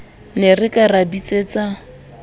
ne re ka ra bitsetsa